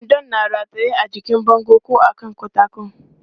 Kwandon na rataye a jikin bango ko a kan katako.